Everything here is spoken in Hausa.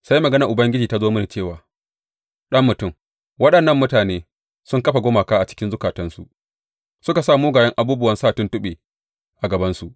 Sai maganar Ubangiji ta zo mini cewa, Ɗan mutum, waɗannan mutane sun kafa gumaka a cikin zukatansu suka sa mugayen abubuwan sa tuntuɓe a gabansu.